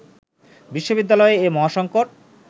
বিশ্ববিদ্যালয়ে এ মহাসঙ্কট